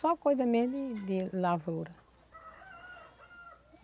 Só coisa mesmo de de lavoura.